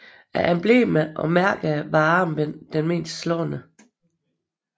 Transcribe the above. Af emblemer og mærker var armbindet det mest slående